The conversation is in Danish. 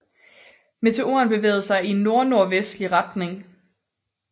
Meteoren bevægede sig i nordnordvestlig retning